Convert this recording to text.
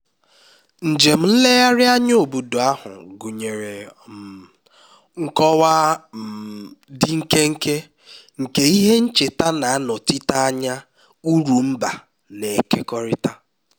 njem nlegharị anya obodo ahụ gụnyere um nkọwa um dị nkenke nke ihe ncheta na-anọchite anya uru mba na-ekekọrịta